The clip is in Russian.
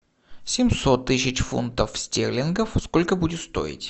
семьсот тысяч фунтов стерлингов сколько будет стоить